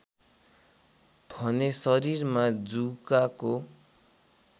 भने शरीरमा जुकाको